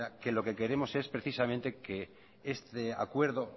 que lo que queremos es precisamente que este acuerdo